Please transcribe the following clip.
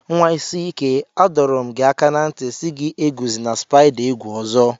Nwa isi ike, A dọrọ m gi aka na nti si gị eguzina spaida egwu ọzọ.